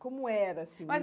Como era, assim, mas